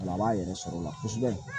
A b'a yɛrɛ sɔrɔ o la kosɛbɛ